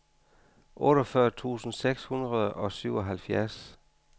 otteogfyrre tusind seks hundrede og syvoghalvtreds